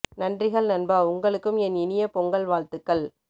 நன்றிகள் நண்பா உங்களுக்கும் என் இனிய பொங்கல் வாழ்த்துக்கள்